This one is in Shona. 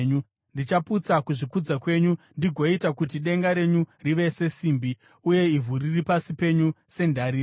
Ndichaputsa kuzvikudza kwenyu ndigoita kuti denga renyu rive sesimbi, uye ivhu riri pasi penyu sendarira.